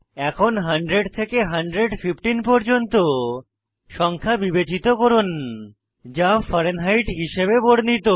এখন 100 থেকে 115 পর্যন্ত সংখ্যা বিবেচিত করুন যা ফারেনহাইট হিসাবে বর্ণিত